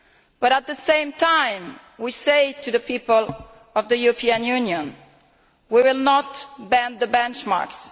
But at the same time, we say to the people of the European Union, we will not bend the benchmarks.